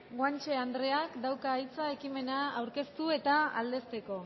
guanche andreak dauka hitza ekimena aurkeztu eta aldezteko